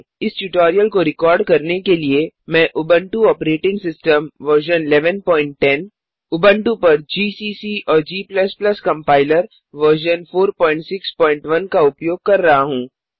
इस ट्योटोरियल को रिकॉर्ड करने के लिये मैं Ubuntu operating system version 1110 Ubuntu पर जीसीसी और g कंपाइलर वर्जन 461 का उपयोग कर रहा हूँ